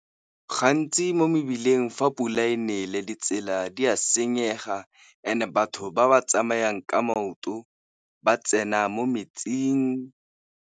Gantsi mo mebileng fa pula e nele ditsela di a senyega, and-e batho ba ba tsamayang ka maoto ba tsena mo metsing.